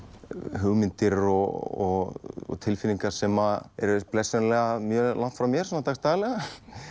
hugmyndir og tilfinningar sem eru blessunarlega mjög langt frá mér svona dagsdaglega